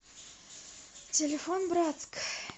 телефон братск